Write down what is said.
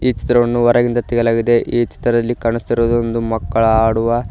ಈ ಚಿತ್ರವನ್ನು ಹೊರಗಿನಿಂದ ತೆಗೆಯಲಾಗಿದೆ ಈ ಚಿತ್ರದಲ್ಲಿ ಕಾಣುತ್ತಿರುವುದು ಒಂದು ಮಕ್ಕಳ ಆಡುವ--